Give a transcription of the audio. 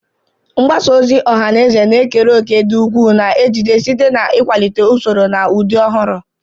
Mgbasa ozi ọha na eze na-ekere òkè dị ukwuu na ejiji, site na ikwalite usoro na ụdị ọhụrụ.